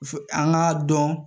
Fu an k'a dɔn